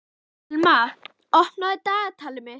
Thelma, opnaðu dagatalið mitt.